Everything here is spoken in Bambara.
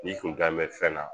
Ni kunkan bɛ fɛn na